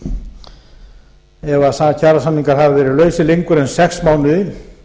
það er ef kjarasamningar hafa verið lausir lengur en sex mánuði